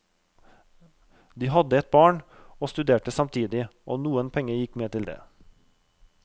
De hadde et barn og studerte samtidig, og noen penger gikk med til det.